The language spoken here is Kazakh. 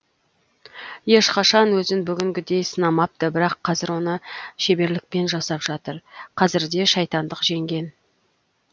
ешқашан өзін бүгінгідей сынамапты бірақ қазір оны шеберлікпен жасап жатыр қазірде шайтандық жеңген